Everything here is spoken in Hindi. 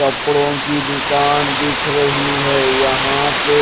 कपड़ों की दुकान दिख रही है यहां पे---